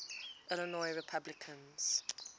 illinois republicans